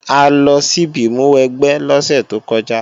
A lọ síbi ìmúwẹgbẹ́ lọ́sẹ̀ tó kọjá